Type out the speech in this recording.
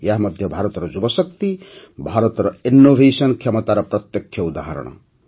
ଏହା ମଧ୍ୟ ଭାରତର ଯୁବଶକ୍ତି ଭାରତର ଇନ୍ନୋଭେସନ୍ କ୍ଷମତାର ପ୍ରତ୍ୟକ୍ଷ ଉଦାହରଣ